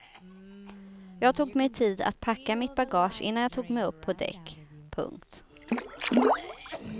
Jag tog mig tid att packa mitt bagage innan jag tog mig upp på däck. punkt